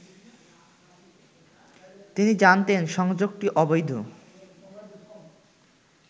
তিনি জানতেন সংযোগটি অবৈধ